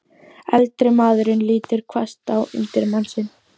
Eldri maðurinn lítur hvasst á undirmann sinn.